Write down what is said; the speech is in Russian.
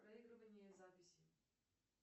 проигрывание записи